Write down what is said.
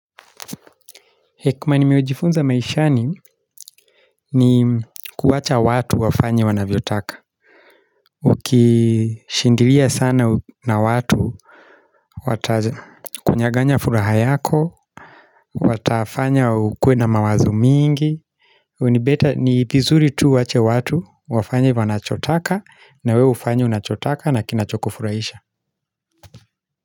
Hekuma nimeojifunza maishani ni kuwacha watu wafanya wanaviotaka Ukishindiria sana na watu Watakunyaganya furaha yako Watafanya ukwe na mawazo mingi Unibeta ni bizuri tu wache watu wafanya wanachotaka na wewe ufanya unachotaka na kinachokofuraisha.